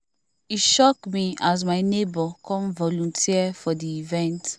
e shock me as my neighbor come volunteer for the event